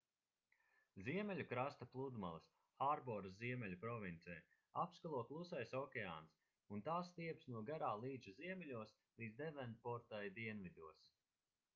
ziemeļu krasta pludmales hārboras ziemeļu provincē apskalo klusais okeāns un tās stiepjas no garā līča ziemeļos līdz devonportai dienvidos